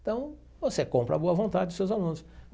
Então, você compra a boa vontade dos seus alunos.